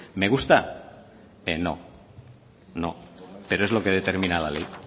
me gusta no no pero es lo que determina la ley